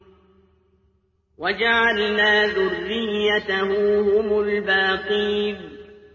وَجَعَلْنَا ذُرِّيَّتَهُ هُمُ الْبَاقِينَ